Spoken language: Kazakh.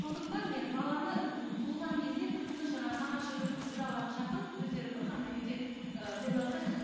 сондықтан мен баланы туылған кезде тып тыныш жаңағы нағашы жұртын құдаларын шақырып өздері бір ғана үйде ы тойласа